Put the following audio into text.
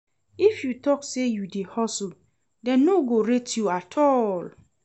If you tok sey you dey hustle, dem no go rate you at all.